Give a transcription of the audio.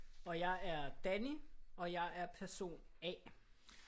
Og jeg er Danny og jeg er person A